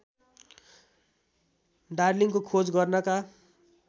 डार्लिंङको खोज गर्नका